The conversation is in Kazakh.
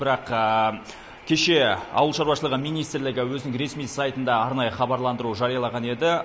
бірақ кеше ауыл шаруашылығы министрлігі өзінің ресми сайтында арнайы хабарландыру жариялаған еді